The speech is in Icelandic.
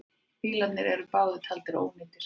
Bílarnir eru báðir taldir ónýtir.